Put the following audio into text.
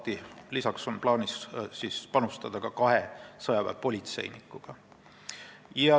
Meil on lisaks plaanis panustada ka kahe sõjaväepolitseinikuga.